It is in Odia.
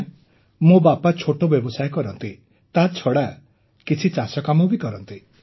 ଆଜ୍ଞା ମୋ ବାପା ଛୋଟ ବ୍ୟବସାୟ କରନ୍ତି ତା ଛଡ଼ା କିଛି ଚାଷ କାମ ବି କରନ୍ତି